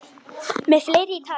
Með fleira í takinu